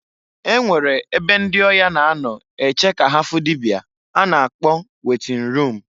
E nwere ebe ndị ọya na-anọ eche ka ha fụ dịbịa a na-akọ wetin rum.